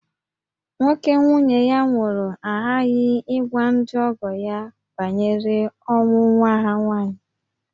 Nwoke nwunye ya nwụrụ aghaghị ịgwa ndị ọgọ ya banyere ọnwụ nwa ha nwaanyị